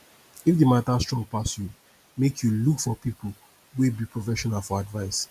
if di mata strong pass yu mek yu look for pipo wey be professional for advice